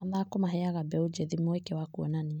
Mathako maheaga mbeũ njĩthĩ mweke wa kuonania.